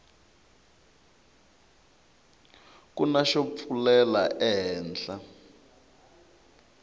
kuna xo pfulela ehenhla